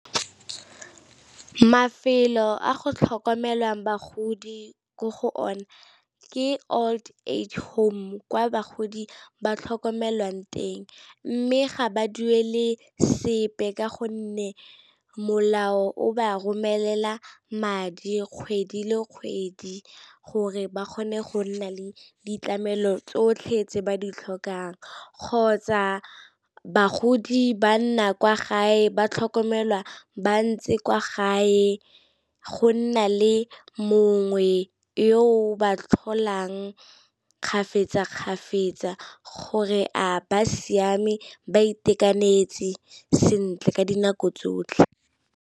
Mafelo a go tlhokomelwang bagodi ko go ona ke old age home kwa bagodi ba tlhokomelwang teng, mme ga ba duele sepe ka gonne molao o ba romelela madi kgwedi le kgwedi gore ba kgone go nna le ditlamelo tsotlhe tse ba ditlhokang, kgotsa bagodi ba nna kwa gae ba tlhokomelwa ba ntse kwa gae, go nna le mongwe yo o ba tlholang gore a ba siame ba itekanetse sentle ka dinako tsotlhe.